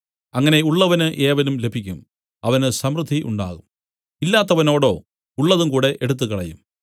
അങ്ങനെ ഉള്ളവന് ഏവനും ലഭിക്കും അവന് സമൃദ്ധിയും ഉണ്ടാകും ഇല്ലാത്തവനോടോ ഉള്ളതുംകൂടെ എടുത്തുകളയും